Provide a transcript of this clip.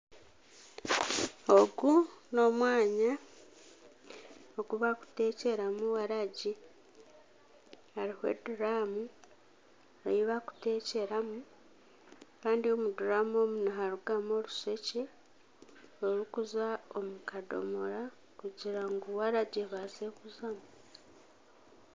Ogu n'omwanya ogu bakuteekyeramu waragi hariho eduramu ei bakuteekyeramu kandi omu duramu omu niharugamu orushekye orukuza omu kadoomora kugira ngu waragi ebaase kuzamu.